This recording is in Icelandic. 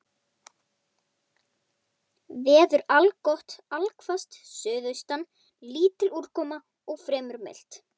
Hvort það sé möguleiki að Helgi geti verið hjá.